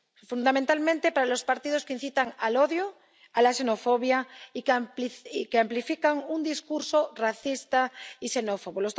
fundamentalmente para los partidos que incitan al odio y a la xenofobia y que amplifican un discurso racista y xenófobo.